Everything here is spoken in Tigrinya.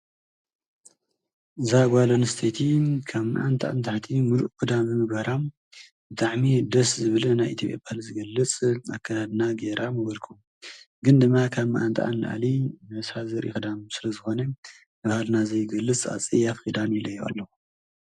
እዛ ጓል ኣንስተይቲ ካብ መዓንጣኣ ንታሕቲ ሙሉእ ክዳን ምግባራ ብጣዕሚ እዩ ደስ ዝብልን ናይቲ ባህሊ ስለዝግለፅ ኣከዳድና ገይራ ምበልኩ ግን ድማ ካብ መዓንጣኣ ንላዕሊ ነብሳ ዘርኢ ክዳን ስለ ዝኾነ ባህልና ዘይገልፅ ኣፀያፊ ክዳን ኢለዮ ኣለኹ፡፡